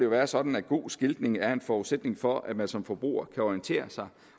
være sådan at god skiltning er en forudsætning for at man som forbruger kan orientere sig